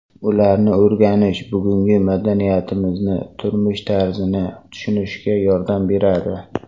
Ularni o‘rganish bugungi madaniyatimizni, turmush tarzini tushunishga yordam beradi.